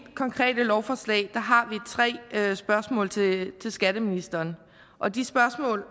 konkrete lovforslag har vi tre spørgsmål til skatteministeren og de spørgsmål